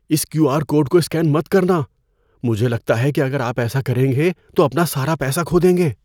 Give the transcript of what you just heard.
اس Q R code کو scan مت کرنا۔ مجھے لگتا ہے کہ اگر آپ ایسا کریں گے تو اپنا سارا پیسہ کھو دیں گے۔